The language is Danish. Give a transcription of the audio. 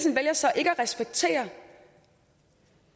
vælger så ikke at respektere